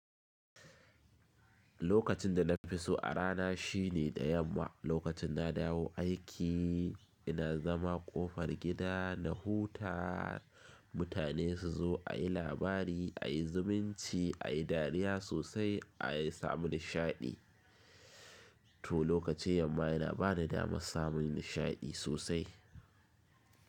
Lokacin da na fi so a rana shine da yamma, lokacin na dawo aiki ina zama ƙofar gida na huta, mutane su zo a yi labari, a yi zumunci, a yi dariya sosai, a samu nishaɗi. To lokacin yamma yana bani damar samun nishaɗi sosai.